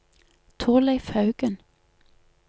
Thorleif Haugen